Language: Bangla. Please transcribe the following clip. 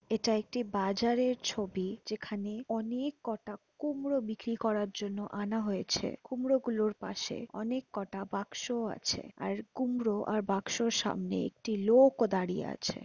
এটা একটি বাজারের ছবি যেখানে অনেক কটা কুমড়ো বিক্রি করার জন্য আনা হয়েছে কুমড়োগুলোর পাশে অনেক কটা বাক্সও আছে আর কুমড়ো আর বাক্সর সামনে একটি লোক ও দাঁড়িয়ে আছে।